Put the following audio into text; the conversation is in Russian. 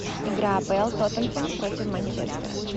игра апл тоттенхэм против манчестера